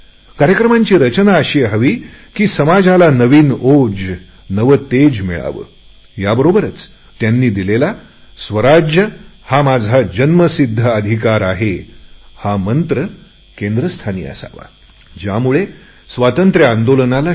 कार्यक्रमांची रचना अशी हवी की समाजाला नवी प्रेरणा नवे तेज मिळावे याबरोबरच त्यांनी दिलेला स्वराज्य हा माझा जन्मसिध्द हक्क आहे आणि तो मी मिळवणारच हा मंत्र केंद्रस्थानी असावा की